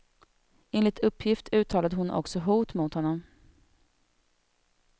Enligt uppgift uttalade hon också hot mot honom.